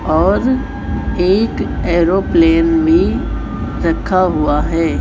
और एक एरोप्लेन में रखा हुआ है।